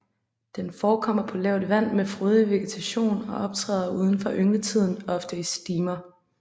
Den forekommer på lavt vand med frodig vegetation og optræder uden for yngletiden ofte i stimer